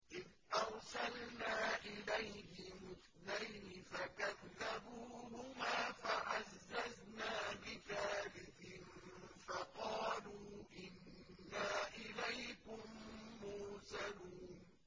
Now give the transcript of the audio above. إِذْ أَرْسَلْنَا إِلَيْهِمُ اثْنَيْنِ فَكَذَّبُوهُمَا فَعَزَّزْنَا بِثَالِثٍ فَقَالُوا إِنَّا إِلَيْكُم مُّرْسَلُونَ